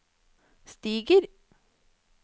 stiger